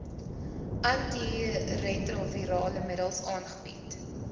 antiretrovirale middels aangebied